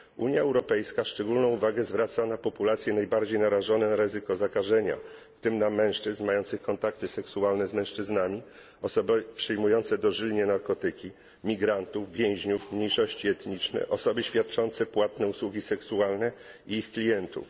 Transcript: Unia Europejska szczególną uwagę zwraca na populacje najbardziej narażone na ryzyko zakażenia, w tym na mężczyzn mających kontakty seksualne z mężczyznami, osoby przyjmujące dożylnie narkotyki, migrantów, więźniów, mniejszości etniczne, osoby świadczące płatne usługi seksualne i ich klientów.